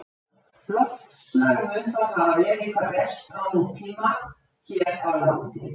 Loftslag mun þá hafa verið hvað best á nútíma hér á landi.